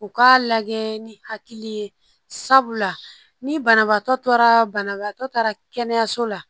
U k'a lajɛ ni hakili ye sabula ni banabaatɔ taara banabaatɔ taara kɛnɛyaso la